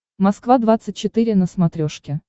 москва двадцать четыре на смотрешке